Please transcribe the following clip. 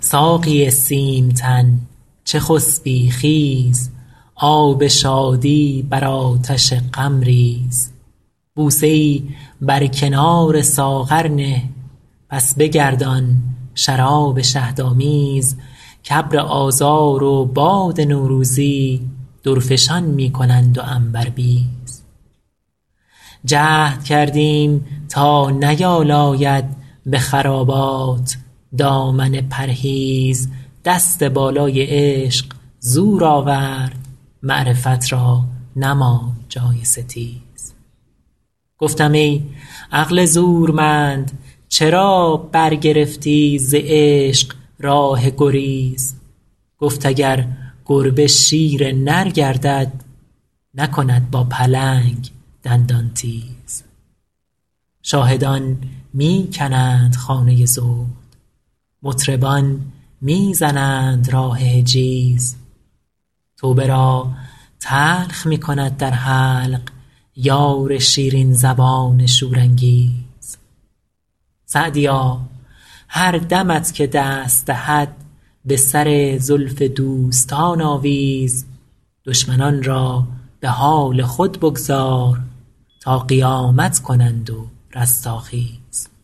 ساقی سیم تن چه خسبی خیز آب شادی بر آتش غم ریز بوسه ای بر کنار ساغر نه پس بگردان شراب شهدآمیز کابر آذار و باد نوروزی درفشان می کنند و عنبربیز جهد کردیم تا نیالاید به خرابات دامن پرهیز دست بالای عشق زور آورد معرفت را نماند جای ستیز گفتم ای عقل زورمند چرا برگرفتی ز عشق راه گریز گفت اگر گربه شیر نر گردد نکند با پلنگ دندان تیز شاهدان می کنند خانه زهد مطربان می زنند راه حجیز توبه را تلخ می کند در حلق یار شیرین زبان شورانگیز سعدیا هر دمت که دست دهد به سر زلف دوستان آویز دشمنان را به حال خود بگذار تا قیامت کنند و رستاخیز